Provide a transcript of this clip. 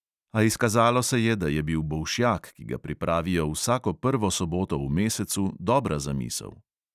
A izkazalo se je, da je bil bolšjak, ki ga pripravijo vsako prvo soboto v mesecu, dobra zamisel.